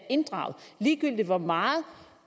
inddraget ligegyldigt hvor meget